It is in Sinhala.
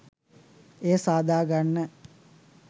එය සාදාගන්න.